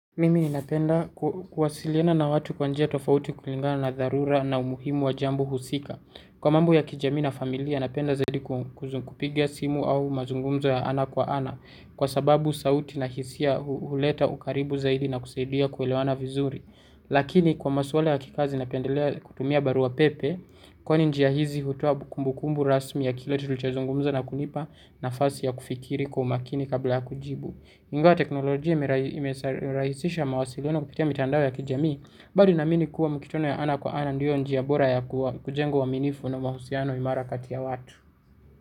Mimi ni napenda kuwasiliana na watu kwa njia tofauti kulingana na dharura na umuhimu wa jambo husika. Kwa mambo ya kijamii na familia, napenda zaidi kuzung kupigia simu au mazungumzo ya ana kwa ana kwa sababu sauti na hisia huleta ukaribu zaidi na kusaidia kuelewana vizuri. Lakini kwa maswala ya kikazi napendelea kutumia barua pepe, kwani njia hizi hutoa kumbukumbu rasmi ya kila tulichozungumza na kunipa nafasi ya kufikiri kwa umakini kabla ya kujibu. Ingawa teknolojia imerahisisha mawasiliano kupitia mitandao ya kijamii bado naamini kuwa mikutano ya ana kwa ana ndiyo njia bora ya kujengo uaminifu na mahusiano imara kati ya watu.